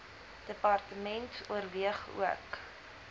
department oorweeg ook